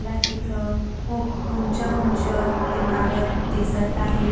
ला इथं खुप उंच उंच इमारत दिसत आहेत.